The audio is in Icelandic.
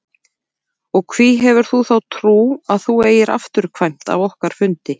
Og hví hefurðu þá trú að þú eigir afturkvæmt af okkar fundi?